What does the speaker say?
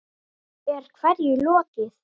Er hverju lokið?